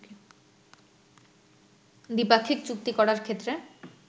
দ্বিপাক্ষিক চুক্তি করার ক্ষেত্রে